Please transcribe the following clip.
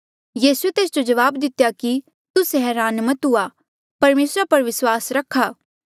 यीसूए तेस जो जवाब दितेया कि तुस्से हरान मत हुआ परमेसरा पर विस्वास रखा